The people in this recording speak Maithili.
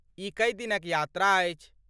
ई कै दिनक यात्रा अछि?